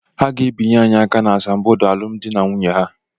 Ha ga-abịanye aka n'asambodo alụmdi na nwunye ha.